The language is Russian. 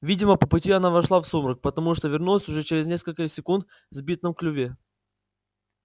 видимо по пути она вошла в сумрак потому что вернулась уже через несколько секунд с бинтом в клюве